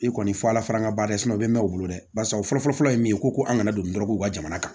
I kɔni fɔ ala faral'an kan dɛ u bɛ mɛn u bolo dɛ barisa u fɔlɔfɔlɔ ye min ye ko ko an kana don dɔrɔgu ka jamana kan